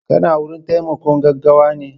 kana wurin taimakon gaggawane